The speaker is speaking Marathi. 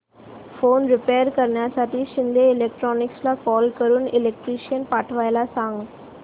फॅन रिपेयर करण्यासाठी शिंदे इलेक्ट्रॉनिक्सला कॉल करून इलेक्ट्रिशियन पाठवायला सांग